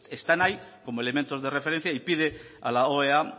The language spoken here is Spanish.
están ahí como elementos de referencia y pide a la oea